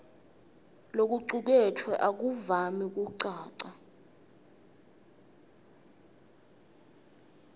lokucuketfwe akuvami kucaca